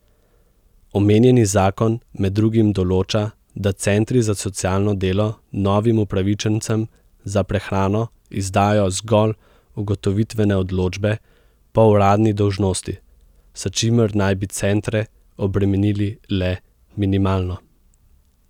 Omenjeni zakon med drugim določa, da centri za socialno delo novim upravičencem za prehrano izdajo zgolj ugotovitvene odločbe po uradni dolžnosti, s čimer naj bi centre obremenili le minimalno.